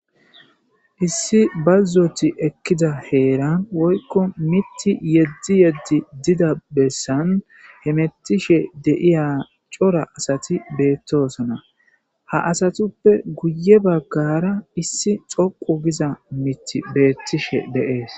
issi bazzoti ekkida heeran woykko mitti yeddi yeddi dida bessan he mettishe deiya cora asati beettoosona ha asatuppe guye baggara issi xoqu giza miti beettishe deees